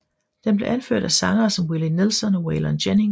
Den blev anført af sangere som Willie Nelson og Waylon Jennings